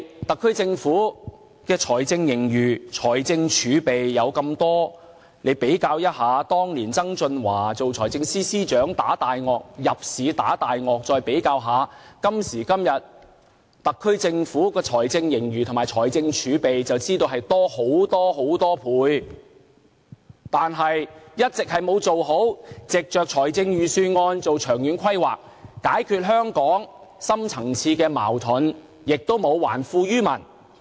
特區政府的財政盈餘和財政儲備那麼多，以當年曾俊華為財政司司長入市"打大鱷"，與特區政府今時今日的財政盈餘和財政儲備比較，便知道多了很多倍，但政府一直沒有藉着預算案做好的長遠規劃，解決香港的深層次矛盾，也沒有還富於民。